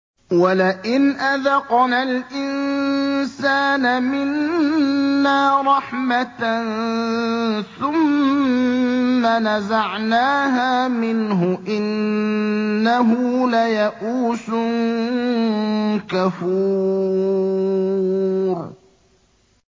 وَلَئِنْ أَذَقْنَا الْإِنسَانَ مِنَّا رَحْمَةً ثُمَّ نَزَعْنَاهَا مِنْهُ إِنَّهُ لَيَئُوسٌ كَفُورٌ